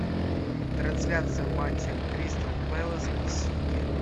трансляция матча кристал пэлас и сити